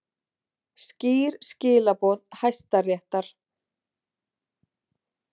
Skýr skilaboð Hæstaréttar